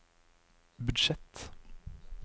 budsjett